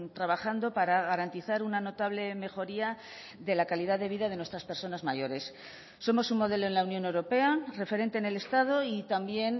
trabajando para garantizar una notable mejoría de la calidad de vida de nuestras personas mayores somos un modelo en la unión europea referente en el estado y también